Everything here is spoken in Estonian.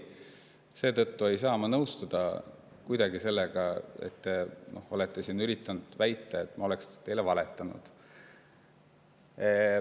Seetõttu ei saa ma kuidagi nõustuda sellega, et te üritate siin väita, et ma olen teile valetanud.